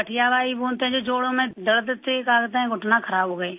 bye بولتے ہیں جو جوڑوں میں درد سے گھٹنا خراب ہوگیا